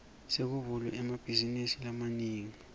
sekuvulwe emabhazinisi lamanengi